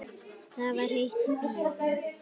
Það var heitt í bíóinu.